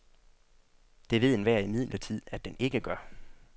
Det ved enhver imidlertid, at den ikke gør.